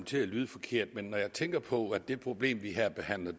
til at lyde forkert men når jeg tænker på hvad det problem vi her behandler